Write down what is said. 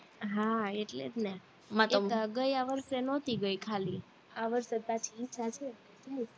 હા એટલે જ ને એક આ ગયા વર્ષે નોતી ગઈ ખાલી આ વર્ષે પછી ઈચ્છા છે